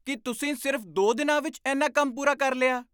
ਕੀ, ਤੁਸੀਂ ਸਿਰਫ਼ ਦੋ ਦਿਨਾਂ ਵਿੱਚ ਇੰਨਾ ਕੰਮ ਪੂਰਾ ਕਰ ਲਿਆ?